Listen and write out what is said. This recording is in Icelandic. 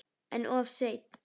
En of seinn.